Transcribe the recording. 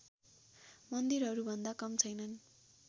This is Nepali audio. मन्दिरहरूभन्दा कम छैनन्